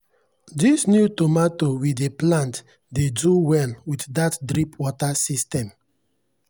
this new tomato we dey plant dey do well with that drip water system.